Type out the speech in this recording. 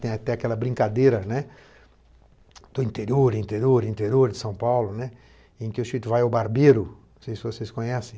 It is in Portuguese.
Tem até aquela brincadeira, né, do interior, interior, interior de São Paulo, né, em que o Chito vai ao barbeiro, não sei se vocês conhecem,